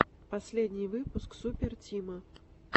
последний выпуск супер тима